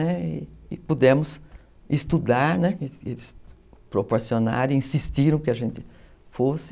E pudemos estudar, né, eles proporcionaram e insistiram que a gente fosse.